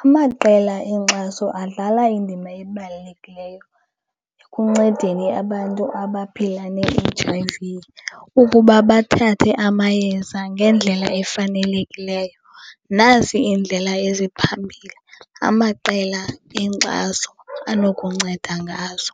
Amaqela enkxaso adlala indima ebalulekileyo ekuncedeni abantu abaphila ne-H_I_V ukuba bathathe amayeza ngendlela efanelekileyo. Nazi iindlela eziphambili amaqela enkxaso anokunceda ngazo.